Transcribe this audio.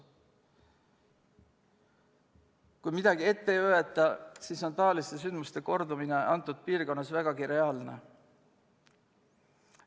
Kui midagi ette ei võeta, siis on taoliste sündmuste kordumine selles piirkonnas vägagi reaalne.